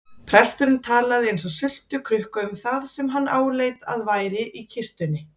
Presturinn talaði eins og sultukrukka um það sem hann áleit að væri í kistunni.